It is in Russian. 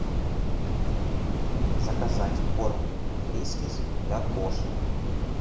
заказать корм фрискис для кошек